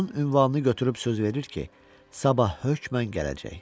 Onun ünvanını götürüb söz verir ki, sabah hökmən gələcək.